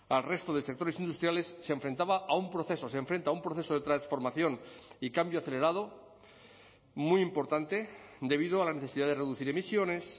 al resto de sectores industriales se enfrentaba a un proceso se enfrenta a un proceso de transformación y cambio acelerado muy importante debido a la necesidad de reducir emisiones